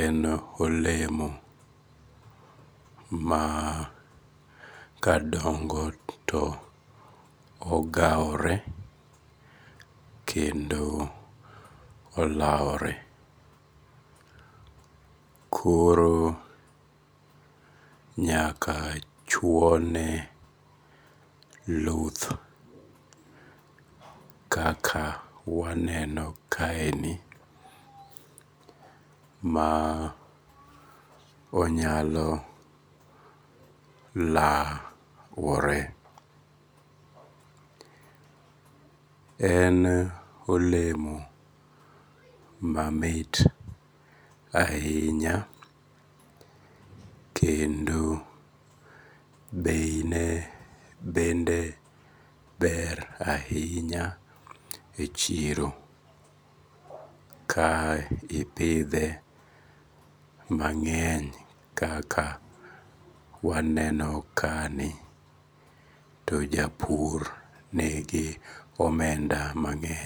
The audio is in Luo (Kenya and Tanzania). en olemo ma kadongo to ogawore, kendo olawore, koro nyaka chwone luth kaka waneno kaendi ma onyalo lawore, en olemo mamit ahinya kendo beine bende ber ahinya e chiro, ka ipithe mang'eny kaka waneno kani to japur nigi omenda mang'eny